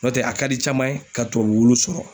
N'ɔ tɛ a ka di caman ye ka tubabu wulu sɔrɔ